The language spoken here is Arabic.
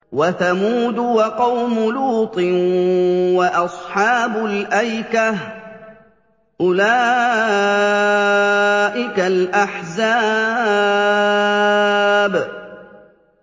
وَثَمُودُ وَقَوْمُ لُوطٍ وَأَصْحَابُ الْأَيْكَةِ ۚ أُولَٰئِكَ الْأَحْزَابُ